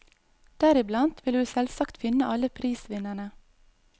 Deriblant vil du selvsagt finne alle prisvinnerne.